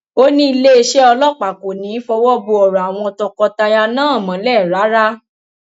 ó ní iléeṣẹ ọlọpàá kò ní í fọwọ bo ọrọ àwọn tọkọtaya náà mọlẹ rárá